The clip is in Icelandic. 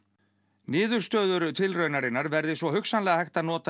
niðurstöður tilraunarinnar verði svo hugsanlega hægt að nota í